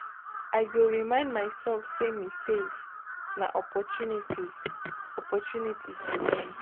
I go remind myself say mistakes na opportunities opportunities to learn.